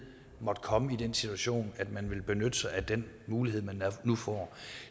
måtte komme i den situation at man ville benytte sig af den mulighed man nu får